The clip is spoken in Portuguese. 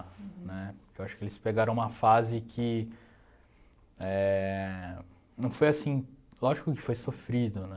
Né, porque eu acho que eles pegaram uma fase que eh... Não foi assim... Lógico que foi sofrido, né?